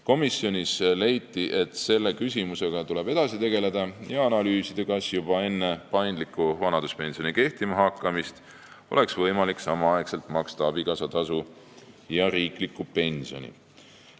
Komisjonis leiti, et selle küsimusega tuleb edasi tegeleda ja analüüsida, kas juba enne paindliku vanaduspensioni kehtima hakkamist oleks võimalik maksta samaaegselt abikaasatasu ja riiklikku pensioni.